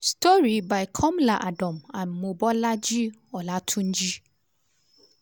di little girl from ghana say she wan become one of di best cardiologists for africa na why she start early.